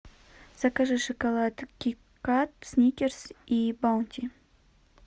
закажи шоколад кит кат сникерс и баунти